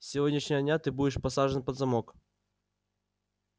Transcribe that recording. с сегодняшнего дня ты будешь посажен под замок